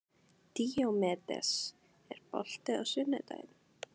Díómedes, er bolti á sunnudaginn?